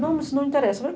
Não, mas não interessa.